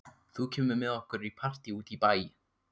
Þú kemur með okkur í partí út í bæ.